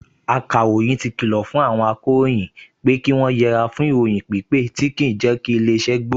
Akàròyìn ti kìlọ̀ fún àwọn akọ̀ròyìn pé kí wọ́n yẹre fún ìròyìn pípẹ tí kì í jẹ́ kí ilé-iṣẹ́ gbòòrò